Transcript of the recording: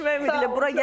Görüşmək ümidi ilə.